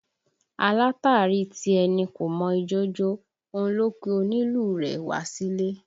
Alátàrí tí ẹ ní kò mọ ijó jó, òun ló pe onílù rẹ wá sílè